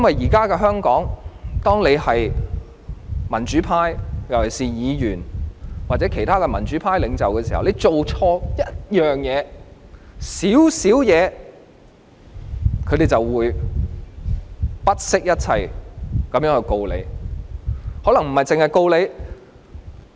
現時在香港，當一個人屬於民主派，特別是議員，或其他民主派領袖時，只要做錯一件小事，他們便會不惜一切控告他，更可能不只是控告他一種罪行。